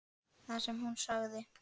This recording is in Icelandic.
Það sem hún sagði